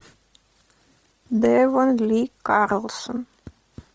девон ли карлсон